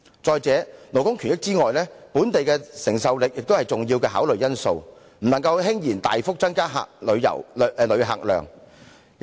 再者，除了顧及勞工權益外，本地的承受力也是一個重要考慮因素，不能輕言大幅增加旅客量。